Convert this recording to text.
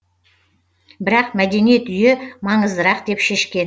бірақ мәдениет үйі маңыздырақ деп шешкен